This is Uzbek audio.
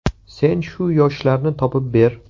Sen shu yoshlarni topib ber.